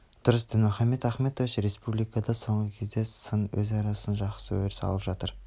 дұрыс дінмұхаммед ахмедович республикада соңғы кезде сын өзара сын жақсы өріс алып жатыр